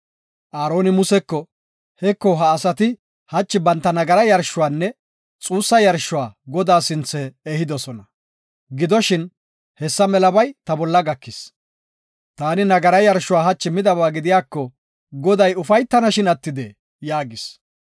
Aaroni Museko, “Heko, ha asati hachi banta nagaraa yarshuwanne xuussa yarshuwa Godaa sinthe ehidosona. Gidoshin, hessa melabay ta bolla gakis. Taani nagaraa yarshuwa hachi midaba gidiyako, Goday ufaytanashin attidee?” yaagis.